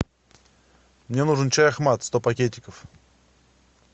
мне нужен чай ахмат сто пакетиков